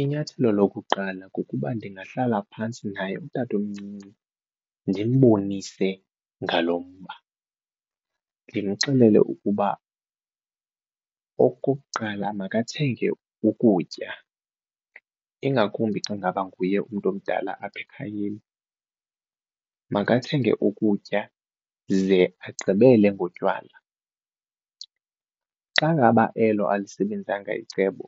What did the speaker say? Inyathelo lokuqala kukuba ndingahlala phantsi naye utatomncinci ndimbonise ngalo mba, ndimxelele ukuba okokuqala makathenge ukutya ingakumbi xa ngaba nguye umntu omdala apha ekhayeni makathenge ukutya ze agqibele ngotywala. Xa ngaba elo alisebenzanga icebo